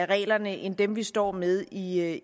reglerne end dem vi står med i